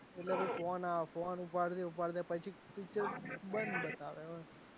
આવ phone ઉપાડતે પછી picture બંધ બતાવે